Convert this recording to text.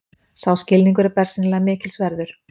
Sá skilningur er bersýnilega mikils verður.